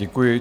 Děkuji.